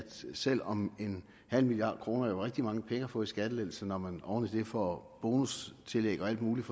selv om en halv million kroner er rigtig mange penge at få i skattelettelse når man oven i får bonustillæg og alt muligt